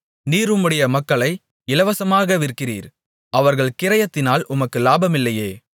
நீர் உம்முடைய மக்களை இலவசமாக விற்கிறீர் அவர்கள் கிரயத்தினால் உமக்கு லாபமில்லையே